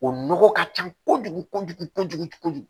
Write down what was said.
O nɔgɔ ka ca kojugu kojugu kojugu kojugu kojugu